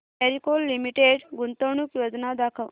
Marico limited गुंतवणूक योजना दाखव